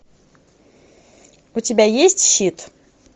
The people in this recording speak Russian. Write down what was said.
у тебя есть щит